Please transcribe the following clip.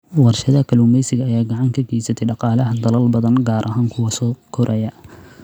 Warshadaha kalluumeysiga ayaa gacan ka geysta dhaqaalaha dalal badan, gaar ahaan kuwa soo koraya.